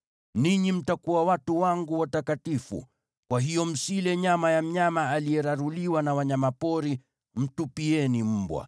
“Ninyi mtakuwa watu wangu watakatifu. Kwa hiyo msile nyama ya mnyama aliyeraruliwa na wanyama pori; mtupieni mbwa.